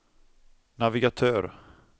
navigatör